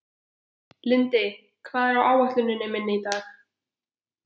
Lindi, hvað er á áætluninni minni í dag?